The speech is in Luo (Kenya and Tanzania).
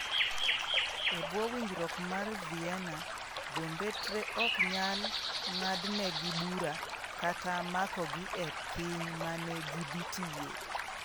E bwo winjruok mar Vienna, jombetre ok nyal ng’adnegi bura kata makogi e piny ma ne gidhi tiye.